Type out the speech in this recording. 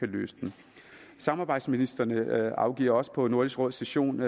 løse dem samarbejdsministrene afgiver også på nordisk råds session